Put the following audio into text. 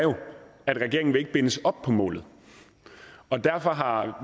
at regeringen ikke vil bindes op på målet og derfor har